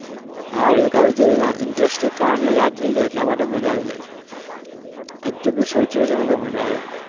હા એક આવી જે interesting કહાનીઓ યાદ રહી જાય એટલે માટે મજા આવી જાય છે હજુ બી सोचिए છીએ ને તો માજા આવે છે.